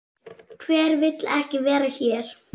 Hver vill ekki vera hér?